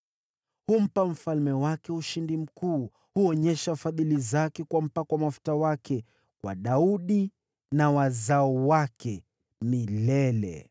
Humpa mfalme wake ushindi mkuu; huonyesha fadhili zake kwa mpakwa mafuta wake, kwa Daudi na wazao wake milele.”